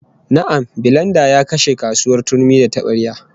Na'am, bilenda ya kashe kasuwar turmi da tabarya